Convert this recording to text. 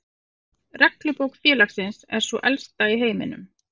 Reglubók félagsins er sú elsta í heiminum.